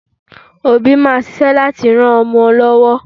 Òbí máa ṣíṣẹ́ láti ran ọmọ lọ́wọ́